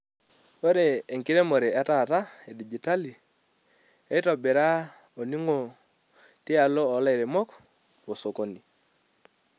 Ore enkiremore etata e digitali eitobira oningo tialo lairemok wosokonini.